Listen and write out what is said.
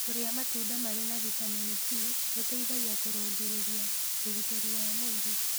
Kũrĩa matũnda marĩ na vĩtamenĩ c gũteĩthagĩa kũrũngĩrĩrĩa ũgĩtĩrĩ wa mwĩrĩ